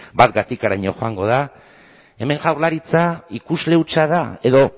bat gatikaraino joango da hemen jaurlaritza ikusle hutsa da edo